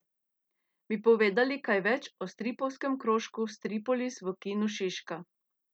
Bi povedali kaj več o stripovskem krožku Stripolis v Kinu Šiška?